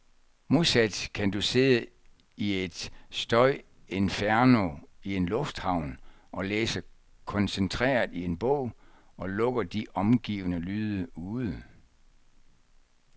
Modsat kan du sidde i et støjinferno i en lufthavn og læse koncentreret i en bog, og lukke de omgivende lyde ude.